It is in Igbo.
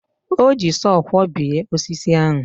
O ji sọọ kwọbie osisi ahụ.